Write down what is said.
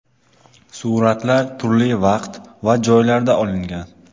Suratlar turli vaqt va joylarda olingan.